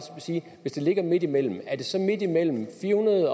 sige at hvis det ligger midt imellem er det så midt imellem fire hundrede